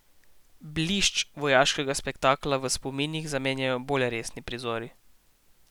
Blišč vojaškega spektakla v spominih zamenjajo bolj resni prizori.